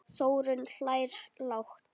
Þórunn hlær lágt.